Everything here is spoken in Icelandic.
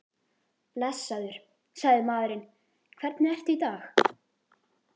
Blessaður, sagði maðurinn, hvernig ertu í dag?